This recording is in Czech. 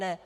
Ne.